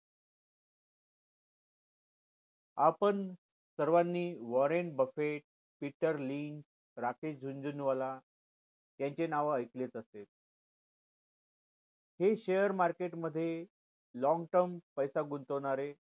आपण सर्वानी Warren Buffett Peter लीग राकेश जुनंजुनवाला ह्यांची नाव ऐकलीच असेल हे share market मध्ये long term पैसा गुंतवणारे